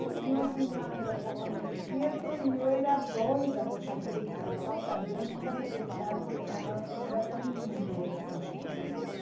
E meu outro irmão era um pouco mais quieto e eu era doida por fazer equitação também, nunca me deixaram porque falaram que não era para menina, isso era só para menino.